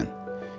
Keçdi.